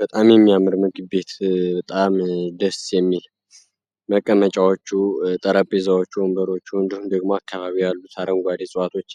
በጣም የሚያምር ምግብ ቤት በጣም ደስ የሚል መቀመጫዎቹ ጠረጼዛዎቹ ወንበሮቹ እንዲሁም ደግሞ በአካባቢው ያሉ አረንጓዴ እፀዋቶች